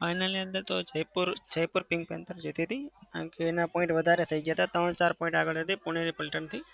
final ની અંદર તો જયપુર જયપુર pink panthers જીતી હતી. કેમ કે એના point વધારે થઇ ગયા હતા. ત્રણ-ચાર point આગળ હતી પુણેની paltan થી.